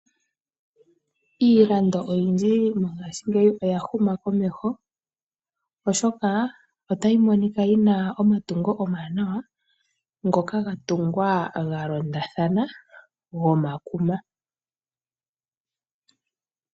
Iilando oyindji mongashingeyi oya huma komeho, oshoka otayi monika yina omatungo omawanawa, ngoka ga tungwa galondathana goondhopi.